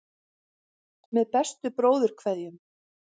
Með bestu bróðurkveðjum.